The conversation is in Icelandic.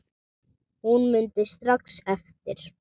Hún mundi strax eftir